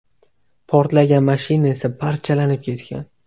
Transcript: Portlagan mashina esa parchalanib ketgan.